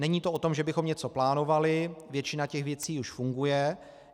Není to o tom, že bychom něco plánovali, většina těch věcí už funguje.